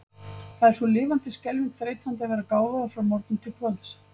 Það er svo lifandis skelfing þreytandi að vera gáfaður frá morgni til kvölds.